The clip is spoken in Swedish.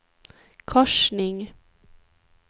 korsning